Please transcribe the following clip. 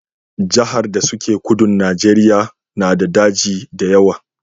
Jahar da su ke kudun Najeriya na da daji da yawa